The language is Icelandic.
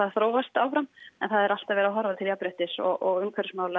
þróast áfram en það er alltaf verið að horfa til jafnréttis og umhverfismála